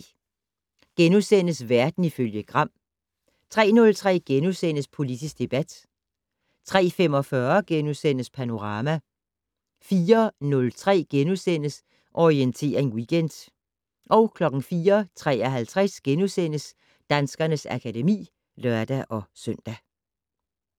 02:03: Verden ifølge Gram * 03:03: Politisk debat * 03:45: Panorama * 04:03: Orientering Weekend * 04:53: Danskernes akademi *(lør-søn)